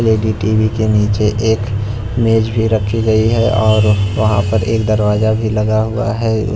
के नीचे एक मेज भी रखी गई है और वहां पर एक दरवाजा भी लगा हुआ है।